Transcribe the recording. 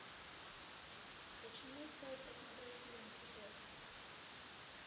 почему стоит посмотреть фильм текст